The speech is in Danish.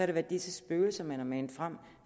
det været disse spøgelser man har manet frem